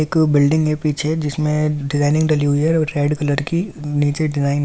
एक बिल्डिंग है पीछे जिसमे डिज़ाइनिंग डली हुई है और रेड कलर की नीचे डिजाइन है ।